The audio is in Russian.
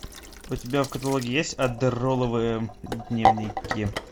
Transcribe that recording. у тебя в каталоге есть аддеролловые дневники